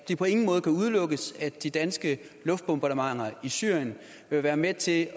det på ingen måde kan udelukkes at de danske luftbombardementer i syrien vil være med til at